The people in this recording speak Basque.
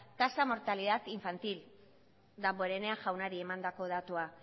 tasa mortalidad infantil damborenea jaunari emandako datua